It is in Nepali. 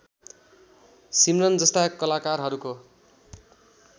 सिमरन जस्ता कलाकारहरूको